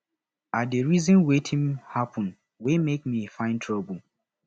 i dey reason wetin happen wey make me find trouble